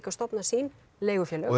stofnað sín leigufélög er